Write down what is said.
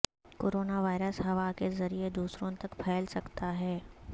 corona virus ہوا کے ذریعہ دوسروں تک پھیل سکتا ہے